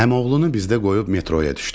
Əmioğlunu bizdə qoyub metroya düşdük.